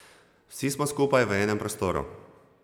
Vsi smo skupaj v enem prostoru.